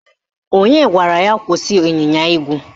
Onye gwara ya kwụsị ịnyịnya ígwè?